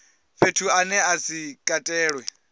fhethu ane a si katelwe